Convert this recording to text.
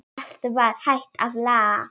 Allt var hægt að laga.